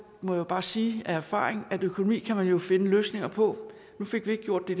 må jeg bare sige af erfaring at økonomi kan man jo finde løsninger på nu fik vi ikke gjort det